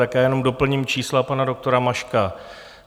Tak já jenom doplním čísla pana doktora Maška.